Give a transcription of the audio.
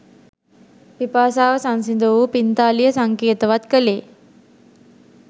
පිපාසාව සංසිඳ වූ පිංතාලිය සංකේතවත් කළේ